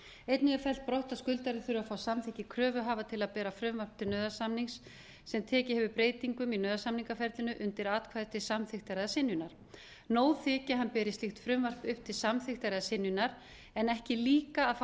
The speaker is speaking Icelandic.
einnig er fellt brott að skuldari þurfi að fá samþykki kröfuhafa til að bera frumvarp til nauðasamnings sem tekið hefur breytingum í nauðasamningaferlinu undir atkvæði til samþykktar eða synjunar nóg þyki að hann beri slíkt frumvarp upp til samþykktar eða synjunar en ekki líka að fá